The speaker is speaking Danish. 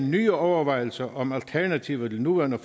nye overvejelser om alternativer til nuværende